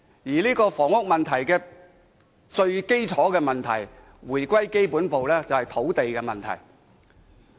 而回歸基本步，房屋問題最根本便是土地問題。